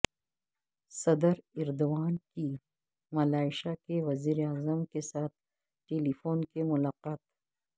صدر ایردوان کی ملائشیا کے وزیر اعظم کیساتھ ٹیلیفونک ملاقات